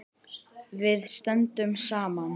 Við stöndum saman.